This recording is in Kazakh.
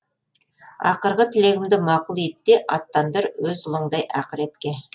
ақырғы тілегімді мақұл ет те аттандыр өз ұлыңдай ақыретке